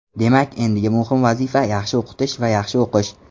Demak, endigi muhim vazifa - yaxshi o‘qitish va yaxshi o‘qish.